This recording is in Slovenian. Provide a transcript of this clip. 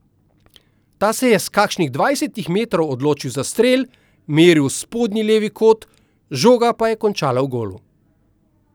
Ta se je s kakšnih dvajsetih metrov odločil za strel, meril v spodnji levi kot, žoga pa končala v golu.